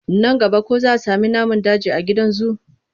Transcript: Nan gaba ko za sami namun daji a gidan zu?